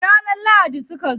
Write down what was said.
Ranar lahadi suka zo.